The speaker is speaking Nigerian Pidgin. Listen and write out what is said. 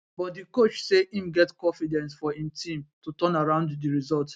but di coach say im get confidence for im team to turn around di results